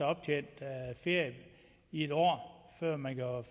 optjent ferie i et år